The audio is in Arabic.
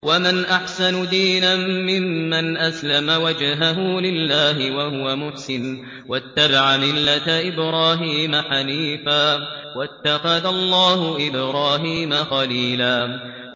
وَمَنْ أَحْسَنُ دِينًا مِّمَّنْ أَسْلَمَ وَجْهَهُ لِلَّهِ وَهُوَ مُحْسِنٌ وَاتَّبَعَ مِلَّةَ إِبْرَاهِيمَ حَنِيفًا ۗ وَاتَّخَذَ اللَّهُ إِبْرَاهِيمَ خَلِيلًا